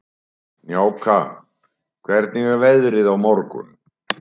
Snjáka, hvernig er veðrið á morgun?